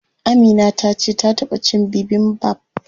Amina tace ta taɓa cin bibimbap.